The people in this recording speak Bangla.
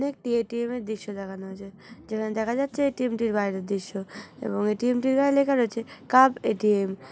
একটি এ.টি.এম -এর দৃশ্য দেখানো হয়েছে যেখানে দেখা যাচ্ছে এ.টি.এম -টির বাইরের দৃশ্য এ.টি.এম -টির গায়ে লেখা রয়েছে কাব এ.টি.এম ।